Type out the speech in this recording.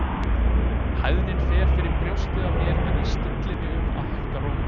Hæðnin fer fyrir brjóstið á mér en ég stilli mig um að hækka róminn.